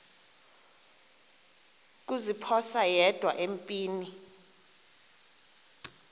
kuziphosa yedwa empini